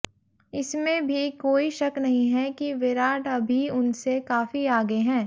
इसमें भी कोई शक नहीं है कि विराट अभी उनसे काफी आगे हैं